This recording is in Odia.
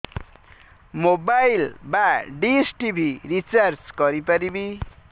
ମୋବାଇଲ୍ ବା ଡିସ୍ ଟିଭି ରିଚାର୍ଜ କରି ପାରିବି